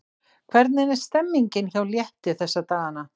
Hvernig er stemningin hjá Létti þessa dagana?